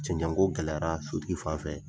Cɛncɛngo gɛlɛyara sotigi fan fɛ.